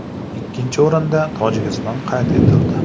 Ikkinchi o‘rinda Tojikiston qayd etildi.